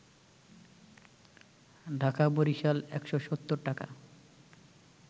ঢাকা-বরিশাল ১৭০ টাকা